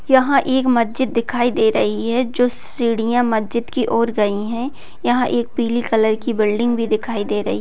यहाँ एक मस्जिद दिखाई दे रही है जो सीढ़िया मस्जिद की ओर गयी है यहाँ एक पिली कलर की बिल्डिंग भी दिखाई दे रही।